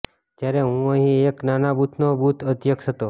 જ્યારે હું અહીં એક નાના બૂથનો બૂથ અધ્યક્ષ હતો